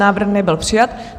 Návrh nebyl přijat.